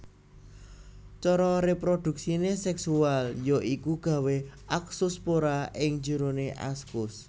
Cara réprodhuksiné séksual ya iku gawé askospora ing jeroné askus